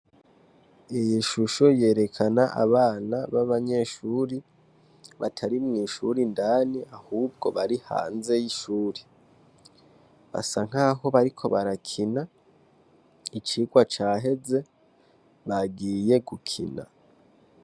Iyi shusho yerekana abana b'abanyeshure batari mw'ishure indani ahubwo bari hanze y'ishure. Basa nkaho bariko barakina, icigwa caheze bagiye gukina.